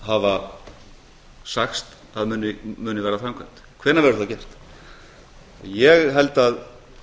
hafa sagt að muni verða framkvæmd hvenær verður það gert ég held að